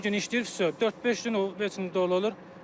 Bir gün işləyir, fyo, dörd-beş gün heç nə dolu olur.